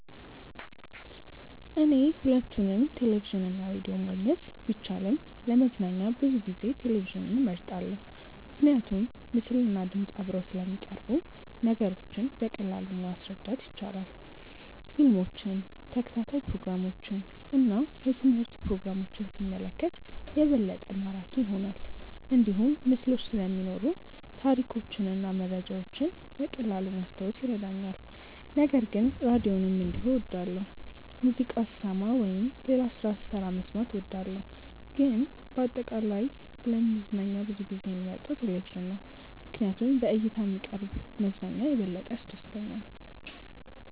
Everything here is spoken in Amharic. እኔ ሁለቱንም ቴሌቪዥን እና ራዲዮ ማግኘት ቢቻልም ለመዝናኛ ብዙ ጊዜ ቴሌቪዥንን እመርጣለሁ። ምክንያቱም ምስልና ድምፅ አብረው ስለሚቀርቡ ነገሮችን በቀላሉ ማረዳት ይቻላል። ፊልሞችን፣ ተከታታይ ፕሮግራሞችን እና የትምህርት ፕሮግራሞችን ሲመለከት የበለጠ ማራኪ ይሆናል። እንዲሁም ምስሎች ስለሚኖሩ ታሪኮችን እና መረጃዎችን በቀላሉ ማስታወስ ይረዳኛል። ነገር ግን ራዲዮንም እንዲሁ እወዳለሁ፣ ሙዚቃ ስሰማ ወይም ሌላ ስራ ስሰራ መስማት እወዳለሁ። ግን በአጠቃላይ ለመዝናኛ ብዙ ጊዜ የምመርጠው ቴሌቪዥን ነው ምክንያቱም በእይታ የሚቀርብ መዝናኛ የበለጠ ያስደስተኛል።